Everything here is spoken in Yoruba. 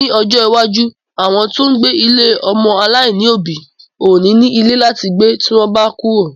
Ní ojó iwájú, àwọn tó ń gbé ilé ọmọ-aláìní òbí ò ní ní ilé láti gbé tí wọ́n bá kúrò.